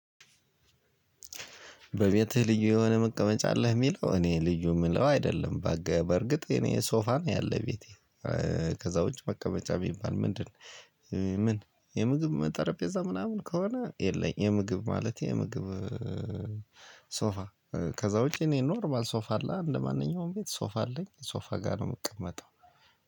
በቤትህ ልዩ የሆነ መቀመጫ አለህ? የሚለው እኔ ልዩ የምለው አይደለም። በእርግጥ እኔ ሶፋ ነው ያለው ቤቴ። ከዛ ውጪ መቀመጫ ቢባል ምንድን ነው? ምን የምግብ ጠረጴዛ ምናምን ከሆነ የለኝም የምግብ ማለት የምግብ ሶፋ ከዛ ውጪ እኔ ኖርማል ሶፋ አለ እንደማንኛውም ቤት ሶፋ አለኝ ሶፋ ጋር ነው የምቀመጠው።